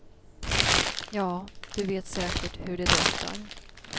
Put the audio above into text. Ja, du vet säkert hur det doftar.